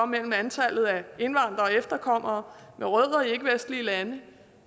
mellem antallet af indvandrere og efterkommere med rødder i ikkevestlige lande